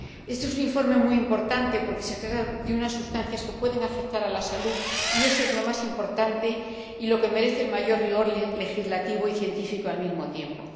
Este es un informe muy importante porque se trata de unas sustancias que pueden afectar a la salud, y eso es lo más importante y lo que merece el mayor rigor legislativo y científico al mismo tiempo.